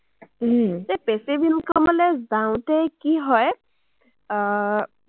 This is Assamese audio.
passive income লে যাওঁতে কি হয়, আহ